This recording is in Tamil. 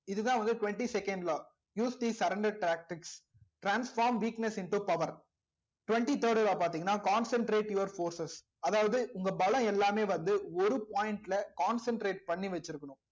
இதுதான் வந்து twenty second law use the surrender tactics transform weakness into power twenty third law பார்த்தீங்கன்னா concentrate your forces அதாவது உங்க பலம் எல்லாமே வந்து ஒரு point ல concentrate பண்ணி வச்சிருக்கணும்